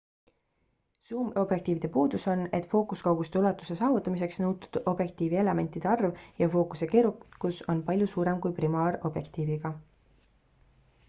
suumobjektiivide puudus on et fookuskauguste ulatuse saavutamiseks nõutud objektiivielementide arv ja fookuse keerukus on palju suurem kui primaarobjektiiviga